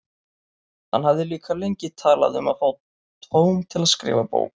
Hann hafði líka lengi talað um að fá tóm til að skrifa bók.